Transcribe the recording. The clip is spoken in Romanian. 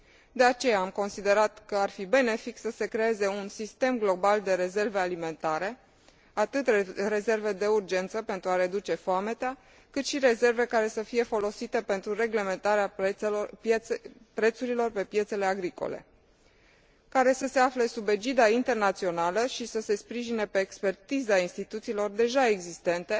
De aceea, am considerat că ar fi benefic să se creeze un sistem global de rezerve alimentare, atât rezerve de urgență, pentru a reduce foametea, cât și rezerve care să fie folosite pentru reglementarea prețurilor pe piețele agricole, care să se afle sub egida internațională și să se sprijine pe expertiza instituțiilor deja existente,